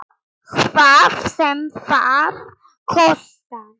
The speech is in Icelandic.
Hvað sem það kostar.